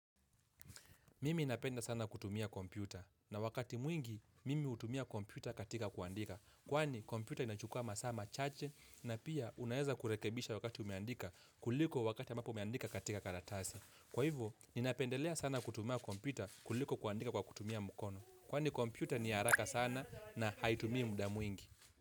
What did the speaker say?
Mimi napenda sana kutumia kompyuta na wakati mwingi mimi hutumia kompyuta katika kuandika. Kwani kompyuta inachukua masaa machache na pia unaeza kurekebisha wakati umeandika kuliko wakati ambapo umeandika katika karatasi. Kwa hivyo, ninapendelea sana kutumia kompyuta kuliko kuandika kwa kutumia mkono. Kwani kompyuta ni haraka sana na haitumii muda mwingi.